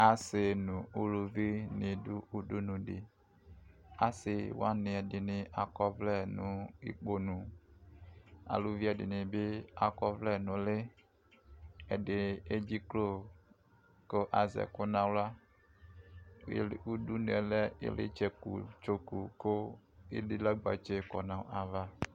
Asɩ nʋ ʋlʋvɩ nɩ adʋ ʋdʋnʋdɩ asɩwanɩ ɛdɩnɩ akɔ ɔvlɛ nʋ ʋkponʋ alʋvɩ ɛdɩnɩbɩ ewu ɔvlɛ nʋ ʋlɩ ɛdɩ ama aduku nʋ uti kʋ azɛ ɛkʋ nʋ aɣla ʋdʋnʋ yɛ lɛ ʋglɩ tsoku kʋ edilagbetse kɔdʋ nʋ ayʋ ava